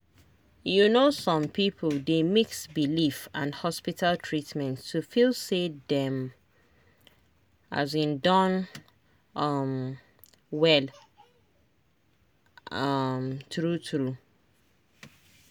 you know some people dey mix belief and hospital treatment to feel say dem um don um well um true true.